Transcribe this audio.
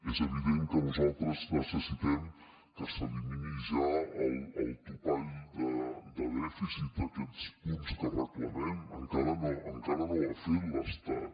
és evident que nosaltres necessitem que s’elimini ja el topall de dèficit aquests punts que reclamem encara no ho ha fet l’estat